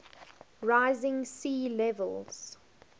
rising sea levels